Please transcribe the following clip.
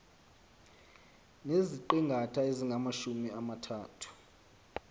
neziqingatha ezingamajumi amathathu